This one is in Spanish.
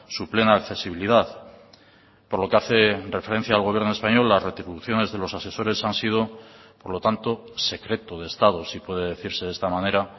su plena accesibilidad por lo que hace referencia al gobierno español las retribuciones de los asesores han sido por lo tanto secreto de estado si puede decirse de esta manera